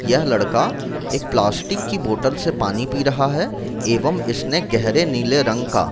यह लड़का एक प्लास्टिक की बोतल से पानी पी रहा है एवं इसने गहरे नीले रंग का --